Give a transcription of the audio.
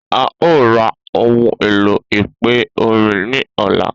A o ra ohun èlò ìpè orin ní ọlá